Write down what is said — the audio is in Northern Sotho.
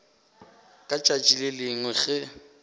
ka tšatši le lengwe ge